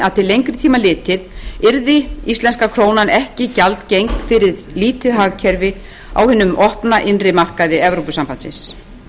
til lengri tíma litið yrði íslenska krónan ekki gjaldgeng fyrir lítið hagkerfi á hinum opna innri markaði evrópusambandsins